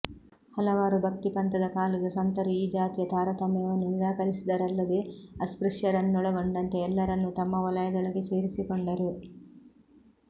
ಹಲವಾರು ಭಕ್ತಿ ಪಂಥದ ಕಾಲದ ಸಂತರು ಈ ಜಾತಿ ತಾರತಮ್ಯವನ್ನು ನಿರಾಕರಿಸಿದರಲ್ಲದೇ ಅಸ್ಪೃಶ್ಯರನ್ನೊಳಗೊಂಡಂತೆ ಎಲ್ಲರನ್ನೂ ತಮ್ಮ ವಲಯದೊಳಗೆ ಸೇರಿಸಿಕೊಂಡರು